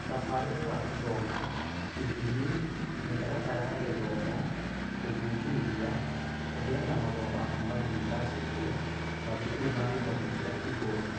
Mũtabarĩre wa gĩthomo, ithimi, mĩtaratara ya gĩthomo, gũthuthuria, kũheana marũa ma kuuma yunivasĩtĩy, yunivasĩtĩ, mathukuru ma gĩthomo kĩa igũrũ.